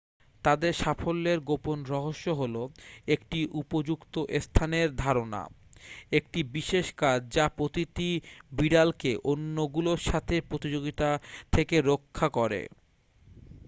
তাদের সাফল্যের গোপন রহস্য হল একটি উপযুক্ত স্থানের ধারণা একটি বিশেষ কাজ যা প্রতিটি বিড়ালকে অন্যগুলোর সাথে প্রতিযোগিতা থেকে রক্ষা করে